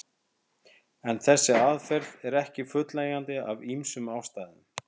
En þessi aðferð er ekki fullnægjandi af ýmsum ástæðum.